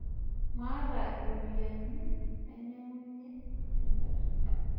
Maata rpoyiani nainyangunye engarri.